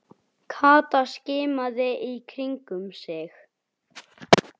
Kata skimaði í kringum sig.